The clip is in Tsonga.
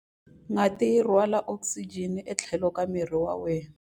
Ngati yi rhwala okisijeni etlhelo ka miri wa wena.